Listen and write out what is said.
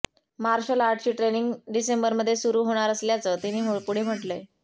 marshal आर्टची training डिसेंबरमध्ये सुरू होणार असल्याचं तिने पुढं म्हटलंय